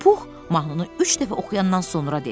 Pux mahnını üç dəfə oxuyandan sonra dedi.